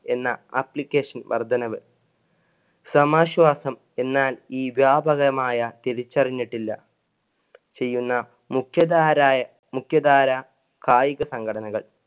എന്ന application വർദ്ധനവ്. സമാശ്വാസം എന്നാൽ ഈ വ്യാപകമായ തിരിച്ചറിഞ്ഞിട്ടില്ല. ചെയുന്ന മുഖ്യതാരായ മുഖ്യധാര കായിക സംഘടനകള്‍.